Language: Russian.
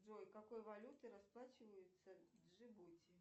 джой какой валютой расплачиваются в джибути